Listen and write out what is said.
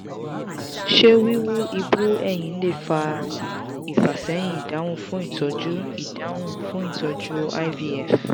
se wiwu ibú-ẹyin le fa ifaseyin idahun fun itoju idahun fun itoju ivf